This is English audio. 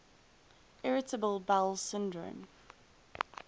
irritable bowel syndrome